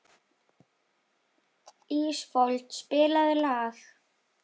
Ísfold, spilaðu lag.